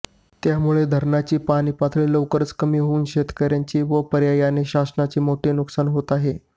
त्यामुळे धरणाची पाणीपातळी लवकर कमी होऊन शेतकऱ्यांचे व पर्यायाने शासनाचे मोठे नुकसान होत आहे